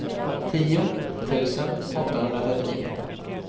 tio tusen åttahundratrettionio